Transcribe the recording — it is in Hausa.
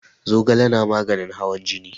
Zogale na maganin hawan jini.